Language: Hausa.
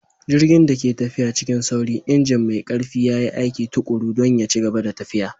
Jirgin da ke tafiya cikin sauri, injin mai ƙarfi ya yi aiki tuƙuru don ya ci gaba da tafiya.